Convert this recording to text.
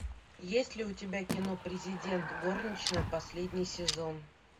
есть ли у тебя кино президент горничная последний сезон